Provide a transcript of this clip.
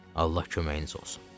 Allah köməyiniz olsun.